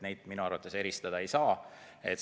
Neid minu arvates eristada ei saa.